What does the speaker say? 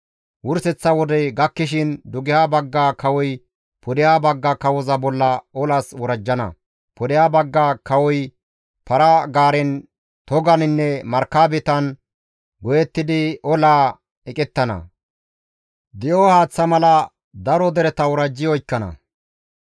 «Wurseththa wodey gakkishin dugeha bagga kawoy pudeha bagga kawoza bolla olas worajjana; pudeha bagga kawoy para-gaaren, toganinne markabetan go7ettidi olaa eqettana; di7o haaththa mala daro dereta worajji oykkana.